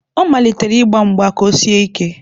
Ọ malitere ịgba mgba ka o sie ike.